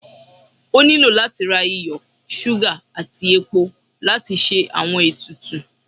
O nilo lati ra iyo, suga ati epó latí ṣe awọn etùtù